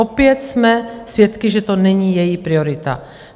Opět jsme svědky, že to není její priorita.